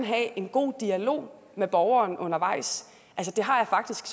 have en god dialog med borgeren undervejs det har jeg faktisk